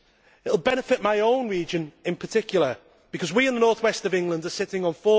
It will benefit my own region in particular because we in the North West of England are sitting on